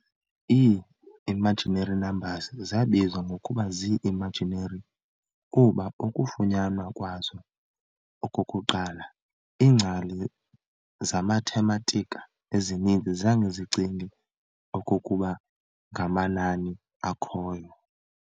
Ii-imaginary numbers zabizwa ngokuba zii-"imaginary" kuba ukufunyanwa kwazo okokuqala, iingcali zemathematika ezininzi zange zicinge okokuba ngamanani akhoyo.